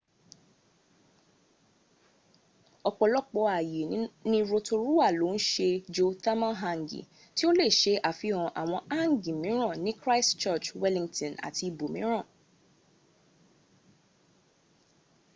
ọ̀pọ̀lọpọ̀ ààyè ní rotorua ló ń se geothermal hangi tí ó lè se àfihàn àwọn hangi míràn ní christchurch wellington àti ibòmíràn